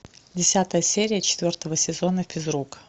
десятая серия четвертого сезона физрук